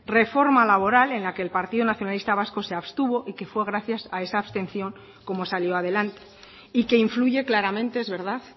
reforma laboral en la que el partido nacionalista vasco se abstuvo y que fue gracias a esa abstención como salió adelante y que influye claramente es verdad